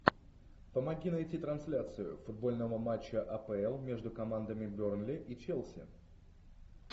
помоги найти трансляцию футбольного матча апл между командами бернли и челси